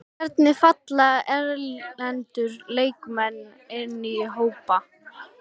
Hvernig falla erlendu leikmennirnir inn í hópinn?